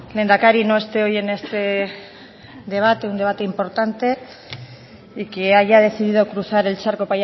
lehendakari no esté hoy en este debate un debate importante y que haya decidido cruzar el charco